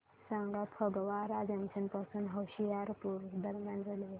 सांगा फगवारा जंक्शन पासून होशियारपुर दरम्यान रेल्वे